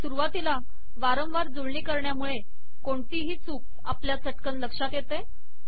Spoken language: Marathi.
सुरुवातीला वारंवार जुळणी करण्यामुळे कोणतीही चूक आपल्या चटकन लक्षात येते